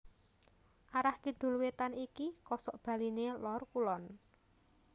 Arah kidul wétan iki kosokbaliné Lor Kulon